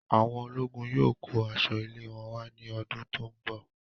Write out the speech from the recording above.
Awọn ológun yóò kó aṣọ ilé wọn wà ní ọdún tó n bọ